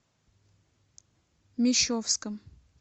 мещовском